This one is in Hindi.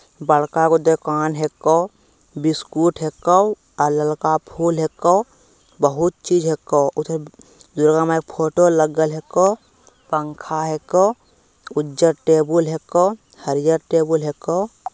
बड़का को दूकान हैको बिस्कुट हैको अ ललका फूल हैको बहुत चीज हैको उधर दु-दुर्गा माई की फोटो लगल हैको पंखा हैको उज्जर टेबुल हैको हरिहर टेबुल हैको |